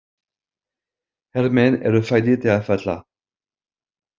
Hermenn eru fæddir til að falla!